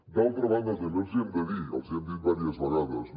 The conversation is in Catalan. d’altra banda també els hi hem de dir els hi hem dit diverses vegades